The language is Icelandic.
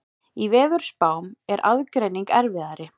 Í veðurspám er aðgreining erfiðari.